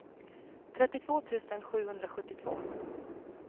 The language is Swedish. trettiotvå tusen sjuhundrasjuttiotvå